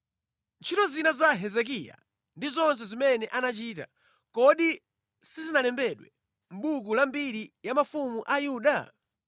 Ntchito zina za Hezekiya ndi zonse zimene anachita, kodi sizinalembedwe mʼbuku la mbiri ya mafumu a Yuda?